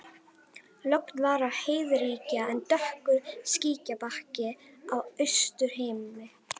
Logn var og heiðríkja en dökkur skýjabakki á austurhimni.